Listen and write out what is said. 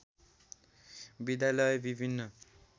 विद्यालय विभिन्न